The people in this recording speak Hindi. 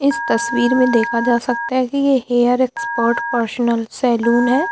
इस तस्वीर में देखा जा सकता है की ये हेयर एक्सपर्ट पर्सनल सैलून है।